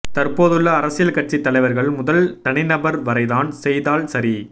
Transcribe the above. தற்போதுள்ள அரசியல் கட்சி தலைவர்கள் முதல் தனிநபர் வரை தான் செய்தால் சரி